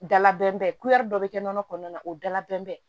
Dala bɛnbɛn dɔ bɛ kɛ nɔnɔ kɔnɔna na o dalabɛn bɛ